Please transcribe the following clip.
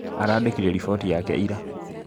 Arandĩkire riboti yake ira